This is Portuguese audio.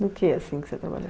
No que assim que você trabalhou?